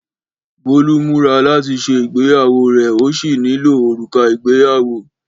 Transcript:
Bọ́lú múra láti ṣe Ìgbéyàwó rẹ̀ ó sì nílò òrùka ìgbéyàwó.